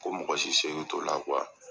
Ko mɔgɔsi seko t'o la ?